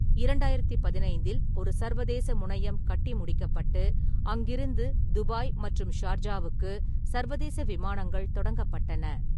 இரண்டாயிரத்து பதினைந்தில் ஒரு சர்வதேச முனையம் கட்டி முடிக்கப்பட்டு, அங்கிருந்து துபாய் மற்றும் ஷார்ஜாவுக்கு சர்வதேச விமானங்கள் தொடங்கப்பட்டன.